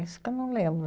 Isso que eu não lembro.